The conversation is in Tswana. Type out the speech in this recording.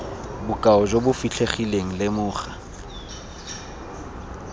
bokao jo bo fitlhegileng lemoga